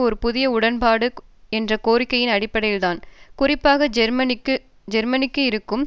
ஒரு புதிய உடன்பாடு என்ற கோரிக்கையின் அடிப்படையில்தான் குறிப்பாக ஜேர்மனிக்கு இருக்கும்